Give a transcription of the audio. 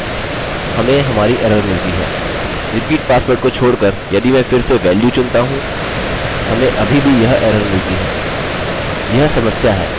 यह हमारी मूल वेरिएबल वैल्यू को एन्क्रिप्ट करेगा और उसी वेरिएबल में एक नया पासवर्ड कोड रखेगा